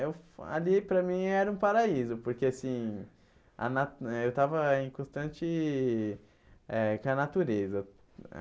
E ali para mim era um paraíso, porque assim, a na eh eu estava em constante eh com a natureza.